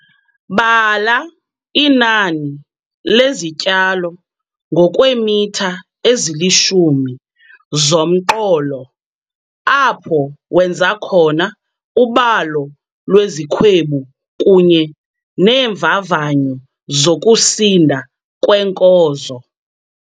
Bala inani lezityalo ngokweemitha ezilishumi zomqolo apho wenza khona ubalo lwezikhwebu kunye neemvavanyo zokusinda kweenkozo.